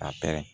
A pɛrɛn